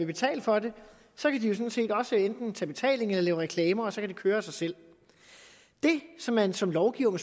betale for det så kan de jo sådan set også enten tage betaling eller lave reklamer og så kan det køre af sig selv det som man som lovgiver må